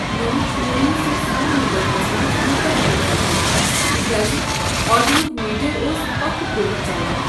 مےٚ وُچھ مویوٗسی سان بٔٹوس منٛز کوتاہ پونٛسہٕ چھُم تہ کیٛاز آٹوٗہُک میٖٹر اوس پکھٕ پٲٹھۍ ژلان۔